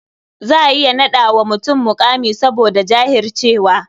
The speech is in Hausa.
Za a iya naɗa wa mutum muƙami saboda jahircewa.